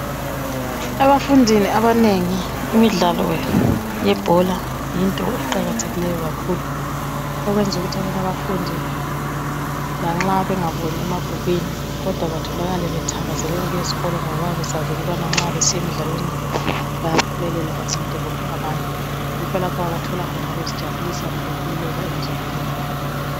Ebafundini abanengi imidlalo yebhola yinto eqakathekileyo kakhulu okwenza ukuthi abanye abafundi lanxa bengaboni emabhukwini kodwa betholakale bethakazelele ukuyesikolo ngoba bayabe besazi ukubana nxa besiya emdlaweni bayaphumelela bancinte abanye. Yikho lapho abathola khona ukuzijabulisa lokukhululeka emzimbeni yabo.